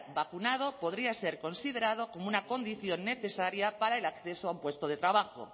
vacunado podría ser considerado como una condición necesaria para el acceso a un puesto de trabajo